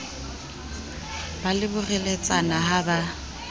ba le boreletsana ha ba